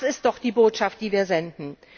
Das ist doch die Botschaft, die wir senden!